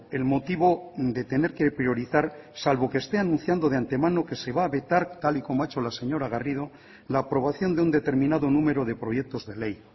el motivo de tener que priorizar salvo que este anunciando de ante mano que se va a vetar tal y como ha hecho la señora garrido la aprobación de un determinado número de proyectos de ley